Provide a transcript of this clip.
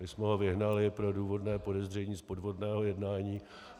My jsme ho vyhnali pro důvodné podezření z podvodného jednání.